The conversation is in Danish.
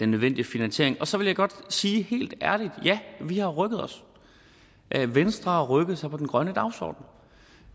nødvendige finansiering og så vil jeg godt sige helt ærligt ja vi har rykket os venstre har rykket sig på den grønne dagsorden